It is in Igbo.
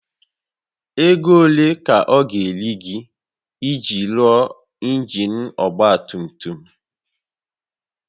Ego ole ka ọ ga-eri gị iji rụọ injin ọgba tum tum?